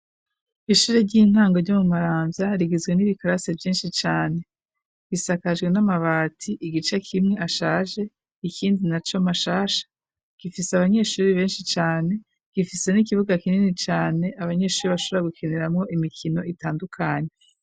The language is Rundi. Ishure ry'intango ryo mu marambya rigizwe n'ibikarase vyinshi cane bisakajwe n'amabati igice kimwe ashaje ikindi na co mashasha gifise abanyeshure benshi cane gifise n'ikibuga kinini cane abanyeshure bashobora gukiniramwo imikino itandukanye.